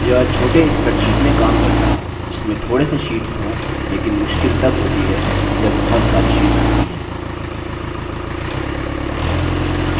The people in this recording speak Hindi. यह छोटे spreadsheet में काम करता है जिसमें थोड़े से शीट्स हों लेकिन मुश्किल तब होती है जब बहुत सारी शीट्स होती है